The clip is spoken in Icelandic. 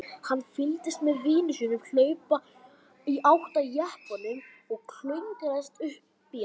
Hann fylgdist með vini sínum hlaupa í átt að jeppanum og klöngrast upp í hann.